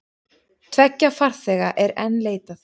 Tveggja farþega er enn leitað.